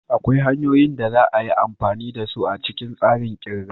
Akwai hanyoyin da za a yin amfani da su a cikin tsarin kirga.